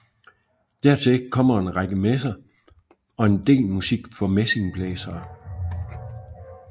Dertil kommer en række messer og en del musik for messingblæsere